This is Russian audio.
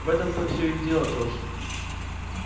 в этом-то всё и дело джордж